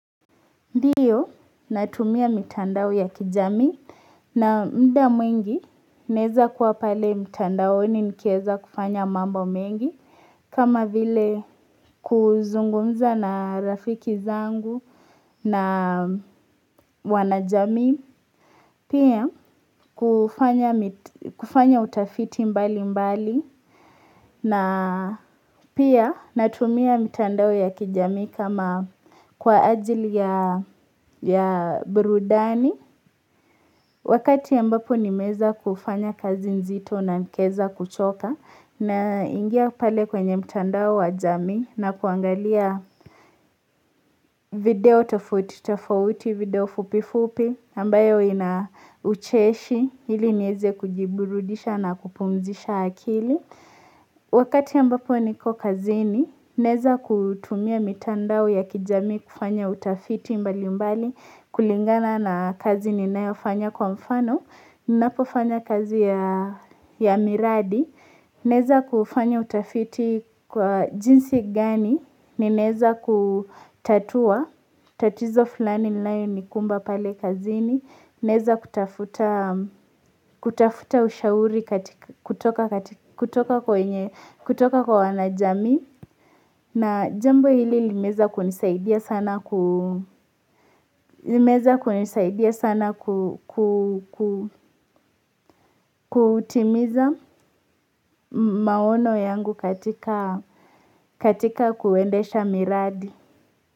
Ndiyo natumia mitandao ya kijamii na muda mwingi naweza kuwa pale mitandaoni nikiweza kufanya mambo mengi kama vile kuzungumza na rafiki zangu na wanajamii pia kufanya utafiti mbali mbali na pia natumia mitandao ya kijamii kama kwa ajili ya burudani Wakati ambapo nimeweza kufanya kazi nzito na nikaweza kuchoka na ingia pale kwenye mtandao wa jamii na kuangalia video tofouti video fupi fupi ambayo inaucheshi ili niweze kujiburudisha na kupumzisha akili Wakati ambapo niko kazini naweza kutumia mitandao ya kijamii kufanya utafiti mbali mbali kulingana na kazi ninayo fanya kwa mfano Ninapofanya kazi ya miradi naweza kufanya utafiti kwa jinsi gani ninaweza kutatua tatizo fulani inayo nikumba pale kazini Naweza kutafuta ushauri kutoka kwa wanajamii na jambo hili limeweza kunisaidia sana kutimiza maono yangu katika kuendesha miradi.